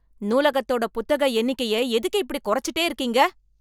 நூலகத்தோட புத்தக எண்ணிக்கைய எதுக்கு இப்படி கொறச்சுட்டே இருக்கீங்க.